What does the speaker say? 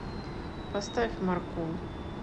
поставь маркул